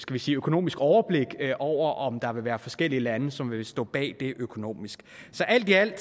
vi sige økonomisk overblik over om der vil være forskellige lande som vil stå bag det økonomisk alt i alt